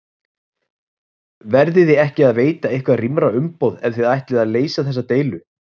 Verðiði ekki að veita eitthvað rýmra umboð ef að þið ætlið að leysa þessa deilu?